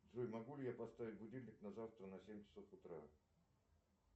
джой могу ли я поставить будильник на завтра на семь часов утра